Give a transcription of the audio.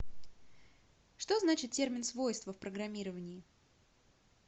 что значит термин свойство в программировании